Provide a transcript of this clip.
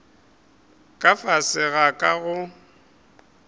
ka fase ga ka go